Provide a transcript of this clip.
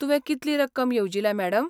तुवें कितली रक्कम येवजिल्या, मॅडम?